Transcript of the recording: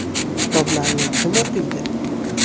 Kitoblarni kim o‘qiydi?